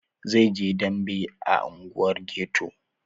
Zai je yin dambe a unguwar ghetto.